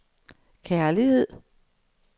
kærlighed